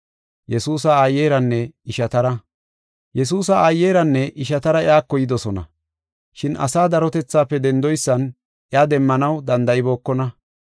Yesuusa aayeranne ishatara iyako yidosona. Shin asaa darotethaafe dendoysan iya demmanaw danda7ibookona.